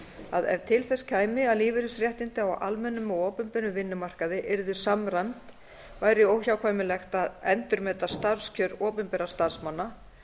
að ef til þess kæmi að lífeyrisréttindi á almennum og opinberum vinnumarkaði yrðu samræmd væri óhjákvæmilegt að endurmeta starfskjör opinberra starfsmanna